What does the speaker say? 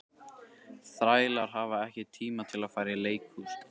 Þrælar hafa ekki tíma til að fara í leikhús.